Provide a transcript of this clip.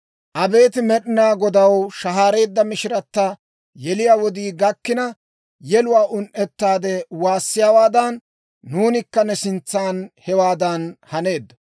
Abeet Med'inaa Godaw! Shahaareedda mishiratta, yeliyaa wodii gakkina, Yeluwaa un"ettaade waassiyaawaadan, Nuunikka ne sintsan hewaadan haneeddo.